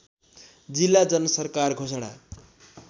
जिल्ला जनसरकार घोषणा